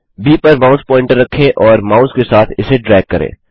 ब पर mouse pointer रखें और माउस के साथ इसे ड्रैग करें